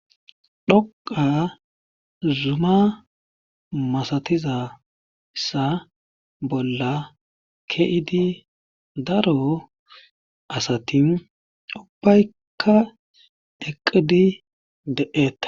dhoqa zuma masatizaysa bolla keidi daro asati ubbayka eqqidi de7etta